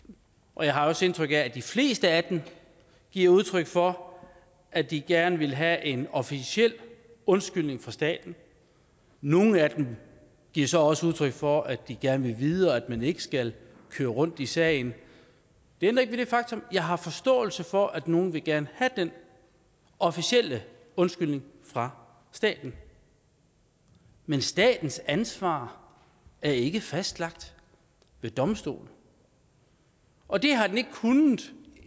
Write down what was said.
og jeg har også indtryk af at de fleste af dem giver udtryk for at de gerne vil have en officiel undskyldning fra staten nogle af dem giver så også udtryk for de gerne vil videre og at man ikke skal køre rundt i sagen det ændrer ikke ved det faktum at jeg har forståelse for at nogle gerne have den officielle undskyldning fra staten men statens ansvar er ikke fastlagt ved domstole og det har den ikke kunnet